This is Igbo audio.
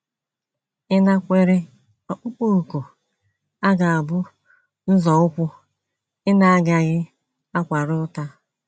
Ịnakwere ọkpụkpọ òkù a ga - abụ nzọụkwụ ị na - agaghị akwara ụta.